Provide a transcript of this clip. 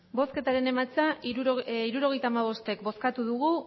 hirurogeita hamabost eman dugu